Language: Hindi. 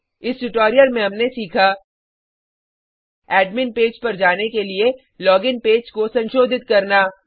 इस ट्यूटोरियल में हमने सीखा एडमिन पेज पर जाने के लिए लोगिन पेज को संशोधित करना